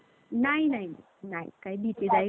नाही नाही नाही. काही भीतीदायक वगैरे